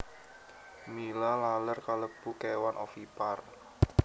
Mila laler kalebu kéwan ovipar